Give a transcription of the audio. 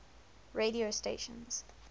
radio stations